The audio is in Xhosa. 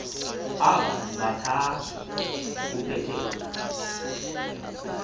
aba bathathu upeter